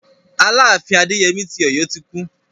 Aláàfin Adéyemí ti Ọ̀yọ́ ti kú.